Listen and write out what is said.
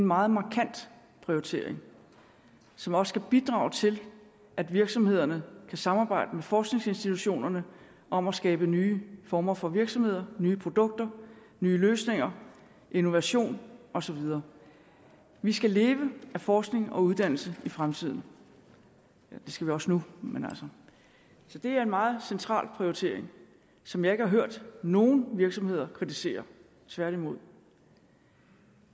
meget markant prioritering som også skal bidrage til at virksomhederne kan samarbejde med forskningsinstitutionerne om at skabe nye former for virksomheder nye produkter nye løsninger innovation og så videre vi skal leve af forskning og uddannelse i fremtiden det skal vi også nu men altså så det er en meget central prioritering som jeg ikke har hørt nogen virksomheder kritisere tværtimod